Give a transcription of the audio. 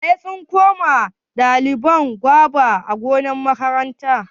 Wa ya tsinko wa ɗaliban goba a gonar makaranta?